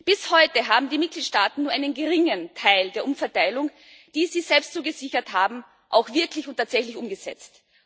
Bis heute haben die Mitgliedstaaten nur einen geringen Teil der Umverteilung, die sie selbst zugesichert haben, auch wirklich und tatsächlich umgesetzt.